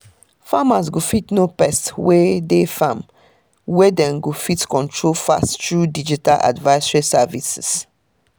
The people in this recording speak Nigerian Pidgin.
farmers go fit know pest wey dey farm wey dem go fit control fast through digital advisory services